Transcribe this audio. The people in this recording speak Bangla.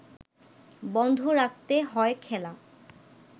বন্ধ রাখতে হয় খেলা